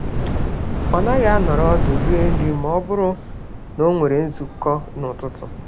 Ọ naghị anọrọ ọdụ rie nri mọbụrụ n'onwere nzukọ n'ụtụtụ